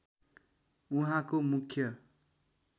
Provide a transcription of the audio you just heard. उहाँको मुख्य